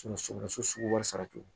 sogo sugu wɛrɛ cogo di